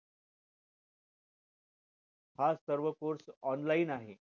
हा सर्व course online आहे